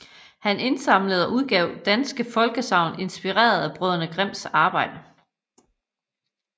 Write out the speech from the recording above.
Han indsamlede og udgav danske folkesagn inspireret af brødrene Grimms arbejde